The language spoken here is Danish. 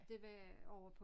Det var ovre på